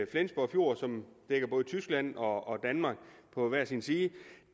flensborg fjord som dækker både tyskland og danmark på hver sin side